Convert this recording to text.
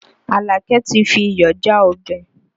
Àlàkẹ́ ti fi iyọ̀ já ọbẹ̀